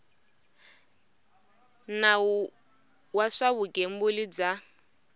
nawu wa swa vugembuli bya